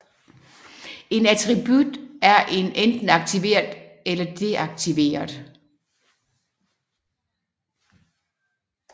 En attribut er enten aktiveret eller deaktiveret